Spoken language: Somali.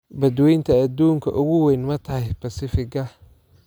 Badweynta adduunka ugu weyn ma tahay Pacific-ga?